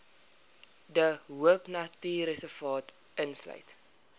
de hoopnatuurreservaat insluit